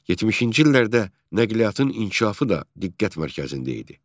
70-ci illərdə nəqliyyatın inkişafı da diqqət mərkəzində idi.